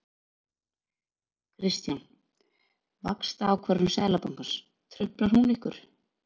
Kristján: Vaxtaákvörðun Seðlabankans, truflar hún ykkur?